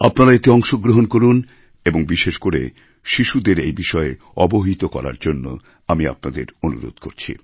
আপনারা এতে অংশগ্রহণ করুন এবং বিশেষ করে শিশুদের এবিষয়ে অবহিত করার জন্য আমি আপনাদের অনুরোধ করছি